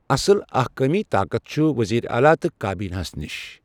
اصل اہکٲمی طاقت چھُ ؤزیٖر اعلیٰ تہٕ کابیٖنہ ہَس نِش۔